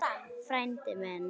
Frændi minn